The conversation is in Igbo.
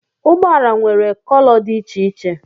ụgbọ ala nwere kolò dị iche iche